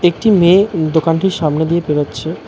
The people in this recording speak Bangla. একটি মেয়ে উম দোকানটির সামনে দিয়ে বেরোচ্ছে।